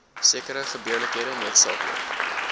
sekere gebeurlikhede noodsaaklik